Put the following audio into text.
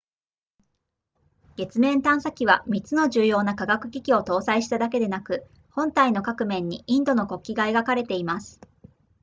月面探査機は3つの重要な科学機器を搭載しただけでなく本体の各面にインドの国旗が描かれています